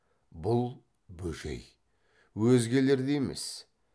бұл бөжей өзгелердей емес